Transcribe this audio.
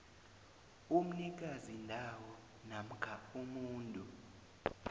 umnikazindawo namkha umuntu